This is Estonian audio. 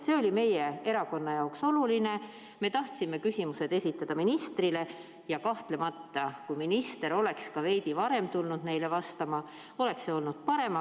See oli meie erakonna jaoks oluline, me tahtsime küsimused esitada ministrile, ja kahtlemata, kui minister oleks ka veidi varem tulnud neile vastama, oleks see olnud parem.